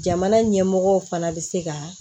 Jamana ɲɛmɔgɔ fana bɛ se ka